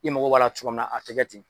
I mako b'a la cogo min na a te kɛ ten.